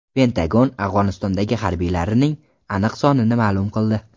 Pentagon Afg‘onistondagi harbiylarining aniq sonini ma’lum qildi .